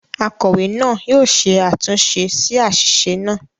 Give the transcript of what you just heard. “ Akọ̀wé náà ” yóò ṣe àtúnṣe sí àṣìṣe náà.